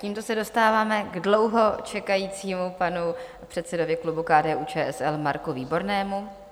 Tímto se dostáváme k dlouho čekajícímu panu předsedovi klubu KDU-ČSL Marku Výbornému.